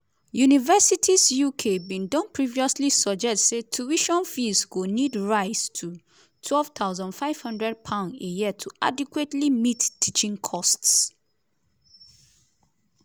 universities uk bin don previously suggest say tuition fees go need rise to £12500 a year to adequately meet teaching costs.